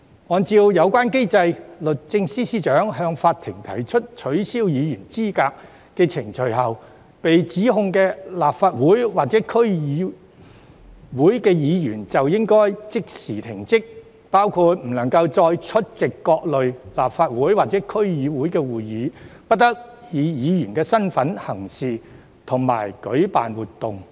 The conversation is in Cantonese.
按照有關機制，律政司司長向法庭提出取消議員資格的法律程序後，被起訴的立法會議員或區議員須即時停職，其間不得再出席各類立法會或區議會會議，亦不得以議員身份行事及舉辦活動等。